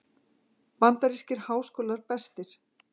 Bandarískir háskólar bestir